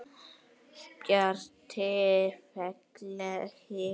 Bjarti, fallegi Breki.